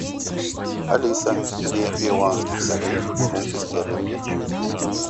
алиса две перуанских солей в фунты стерлинги